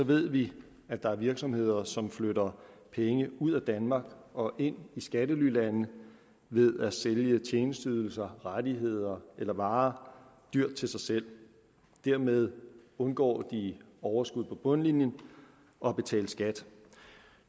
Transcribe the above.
ved vi at der er virksomheder som flytter penge ud af danmark og ind i skattelylande ved at sælge tjenesteydelser rettigheder eller varer dyrt til sig selv dermed undgår de overskud på bundlinjen og at betale skat